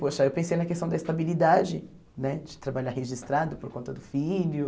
Poxa, eu pensei na questão da estabilidade né, de trabalhar registrado por conta do filho.